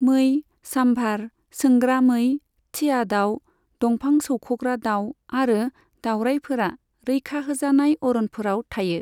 मै, साम्भार, सोंग्रा मै, थिया दाउ, दंफां सौख'ग्रा दाउ आरो दावरायफोरा रैखा होजानाय अरनफोराव थायो।